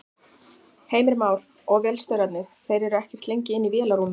Heimir Már: Og vélstjórarnir, þeir eru ekkert lengi inni í vélarrúminu?